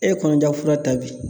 E kɔnɔja fura ta bi